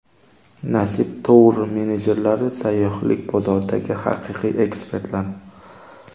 Nasib Tour menejerlari sayyohlik bozoridagi haqiqiy ekspertlar.